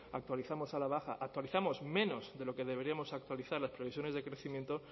actualizamos a la baja actualizamos menos de lo que deberíamos actualizar las previsiones de crecimiento